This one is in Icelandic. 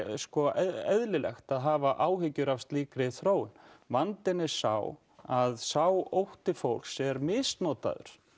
eðlilegt að hafa áhyggjur af slíkri þróun vandinn er sá að sá ótti fólks er misnotaður